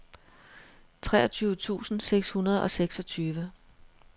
treogtyve tusind seks hundrede og seksogtyve